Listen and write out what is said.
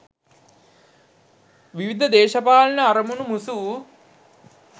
විවිධ දේශපාලන අරමුණු මුසු වූ